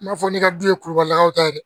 N m'a fɔ ne ka du ye kurubakaw ta ye dɛ